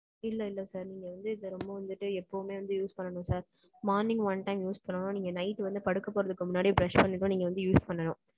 இல்லை, இல்லை sir, நீங்க வந்து, இதை ரொம்ப வந்துட்டு, எப்பவுமே வந்து, use பண்ணணும் sir. Morning one time use பண்ணணும். நீங்க night வந்து, படுக்கப் போறதுக்கு முன்னாடியே, brush பண்ணணும். நீங்க வந்து, use பண்ணணும்.